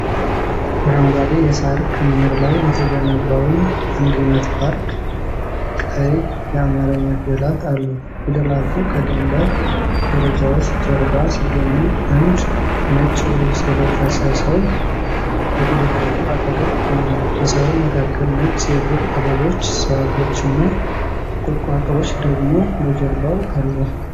አረንጓዴ የሳር ክምር ላይ የተገነባውን "አንድነት ፓርክ" ቀይ የአማርኛ ፊደላት አሉት። ፊደላቱ ከድንጋይ ደረጃዎች ጀርባ ሲገኙ አንድ ነጭ ልብስ የለበሰ ሰው በፊደላቱ አጠገብ ቆሟል። በሣሩ መካከል ነጭ የዱር አበቦች ዛፎችና ቁጥቋጦዎች ደግሞ በጀርባው አሉ።